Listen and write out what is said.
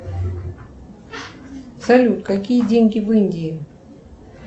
салют какие деньги в индии